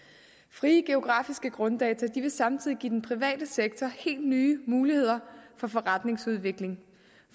frie geografiske grunddata vil samtidig give den private sektor helt nye muligheder for forretningsudvikling